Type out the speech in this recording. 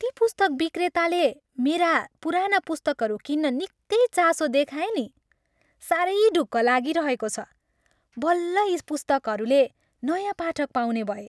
ती पुस्तक विक्रेताले मेरा पुराना पुस्तकहरू किन्न निक्कै चासो दिखाए नि। साह्रै ढुक्क लागिरहेको छ। बल्ल यी पुस्तकरूले नयाँ पाठक पाउने भए!